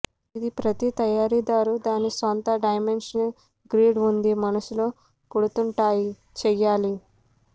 ఇది ప్రతి తయారీదారు దాని సొంత డైమెన్షనల్ గ్రిడ్ ఉంది మనస్సులో పుడుతుంటాయి చేయాలి